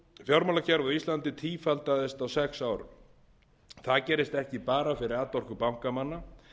fjármálakerfið á íslandi tífaldaðist á sex árum það gerist ekki bara fyrir atorku bankamanna